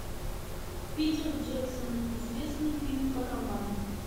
питер джексон известный фильм по роману